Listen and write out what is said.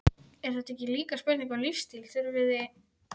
Er þetta ekki líka spurning um lífsstíl, þurfiði